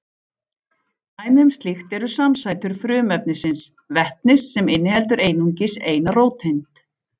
Dæmi um slíkt eru samsætur frumefnisins vetnis sem inniheldur einungis eina róteind.